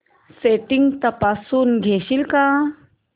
settings तपासून घेशील का